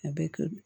A bɛ to